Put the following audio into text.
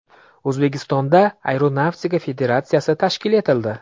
O‘zbekistonda Aeronavtika federatsiyasi tashkil etildi.